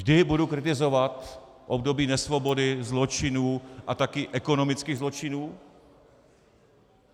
Vždy budu kritizovat období nesvobody, zločinů, a taky ekonomických zločinů.